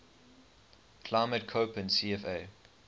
climate koppen cfa